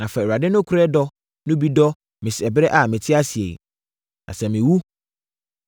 Na fa Awurade nokorɛ dɔ no bi dɔ me ɛberɛ a mete ase yi. Na sɛ mewu,